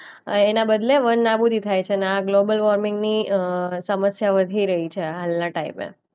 આ એના બદલે વન આબૂદી થાય છે ને આ ગ્લોબલ વૉર્મિંગની અ સમસ્યા વધી રહી છે હાલના ટાઈમે.